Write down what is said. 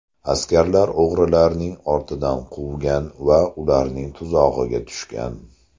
Askarlar o‘g‘rilarning ortidan quvgan va ularning tuzog‘iga tushgan.